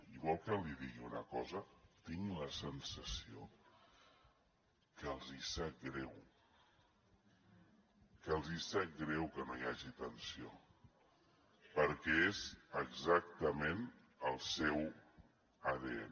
i vol que li digui una cosa tinc la sensació que els hi sap greu que els hi sap greu que no hi hagi tensió perquè és exactament el seu adn